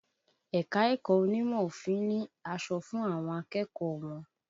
Ẹ̀ka-ẹ̀kọ onímọ̀ òfin ni aṣọ fún àwọn akẹ́kọ̀ọ́ wọn